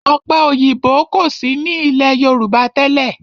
Ọ̀pẹ òyìnbó kò sí ní ilé Yorùbá tẹ́lẹ̀.